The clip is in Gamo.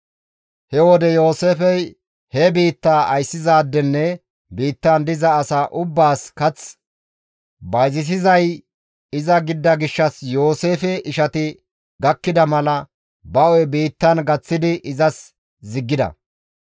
He wode Yooseefey he biittaa ayssizaadenne biittan diza asaa ubbaas kath bayzisizay iza gidida gishshas Yooseefe ishati gakkida mala, ba hu7e biittan gaththidi izas ziggida.